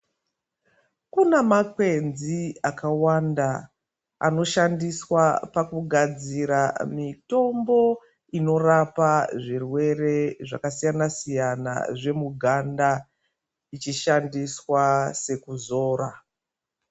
Kuna makwenzi akawanda anoshandiswa pakugadzira mutombo inorapa zvirwere zvakasiyana siyana zvemuganda ichishandiswa sekuzora.